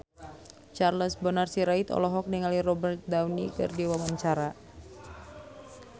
Charles Bonar Sirait olohok ningali Robert Downey keur diwawancara